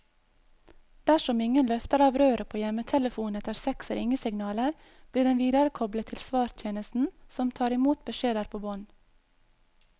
Dersom ingen løfter av røret på hjemmetelefonen etter seks ringesignaler, blir den viderekoblet til svartjenesten, som tar i mot beskjeder på bånd.